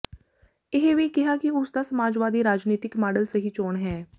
ਇਹ ਵੀ ਕਿਹਾ ਕਿ ਉਸ ਦਾ ਸਮਾਜਵਾਦੀ ਰਾਜਨੀਤਿਕ ਮਾਡਲ ਸਹੀ ਚੋਣ ਹੈ